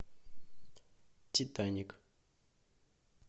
титаник